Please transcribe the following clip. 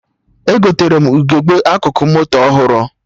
Egotere m ugegbe akụkụ moto ọhụrụ